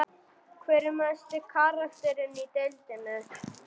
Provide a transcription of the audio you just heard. Hver er mesti karakterinn í deildinni?